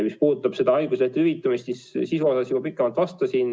Mis puudutab haiguslehtede hüvitamist, siis sisu kohta ma juba pikemalt vastasin.